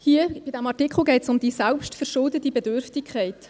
Bei diesem Artikel geht es um die selbstverschuldete Bedürftigkeit.